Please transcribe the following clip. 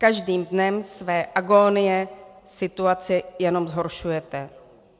Každým dnem své agónie situaci jenom zhoršujete.